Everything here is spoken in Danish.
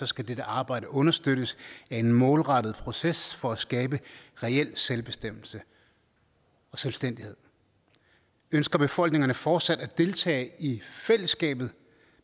skal dette arbejde understøttes af en målrettet proces for at skabe reel selvbestemmelse og selvstændighed ønsker befolkningerne fortsat at deltage i fællesskabet